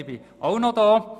ich bin noch da.